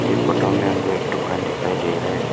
ये फोटो में हमको एक दुकान दिखाई दे रहा है।